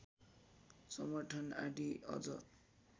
समर्थन आदि अझ